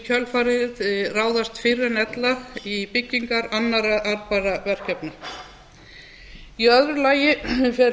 í kjölfarið ráðast fyrr en ella í byggingar annarra arðbærra mannvirkja í öðru lagi fer